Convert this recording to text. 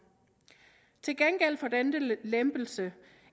til gengæld for denne lempelse